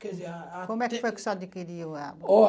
Quer dizer, ah, ah... Como é que foi que o senhor adquiriu ela? Ó